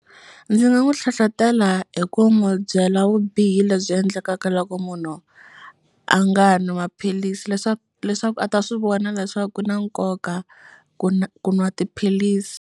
Ndzi nga n'wi hlohlotela hi ku n'wu byela vubihi lebyi endlekaka loko munhu a nga nwi maphilisi leswaku leswaku a ta swi vona leswaku ku na nkoka ku ku nwa tiphilisi.